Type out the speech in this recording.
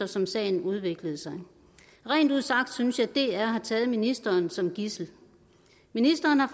som sagen udviklede sig rent ud sagt synes jeg at dr har taget ministeren som gidsel ministeren har